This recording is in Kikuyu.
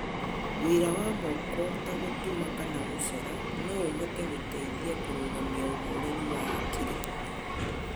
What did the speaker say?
Wĩra wa moko ta gũtuma kana gũcora no ũhote gũteithia kũrũgamia ũhoreru wa hakiri.